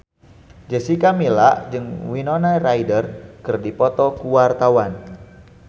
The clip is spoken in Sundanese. Jessica Milla jeung Winona Ryder keur dipoto ku wartawan